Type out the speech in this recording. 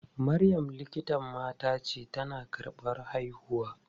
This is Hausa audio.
Maryam likitan mata ce, tana karɓan haihuwa.